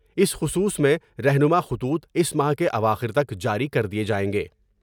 اس خصوص میں رہنماء خطوط اس ماہ کے اواخر تک جاری کر دئیے جائیں گے ۔